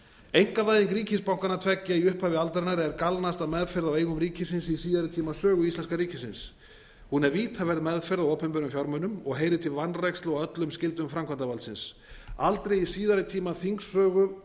einkavæðing ríkisbankanna tveggja í upphafi aldarinnar er galnasta meðferð á eigum ríkisins í síðari tíma sögu íslenska ríkisins hún er vítaverð meðferð á opinberum fjármunum og heyrir til vanrækslu á öllum skyldum framkvæmdarvaldsins aldrei í síðari tíma þingsögu